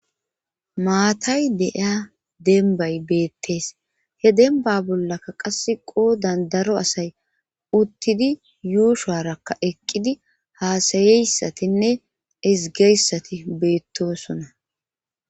maatay de7iya denbay beettes he denba bollaka qasse qoodan daro asay uttidi yuushuwarakka eqqidi haasayeyssatinne izgeyssati beettosona.